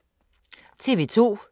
TV 2